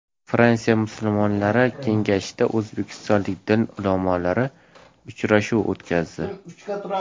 Fransiya musulmonlari kengashida o‘zbekistonlik din ulamolari uchrashuv o‘tkazdi.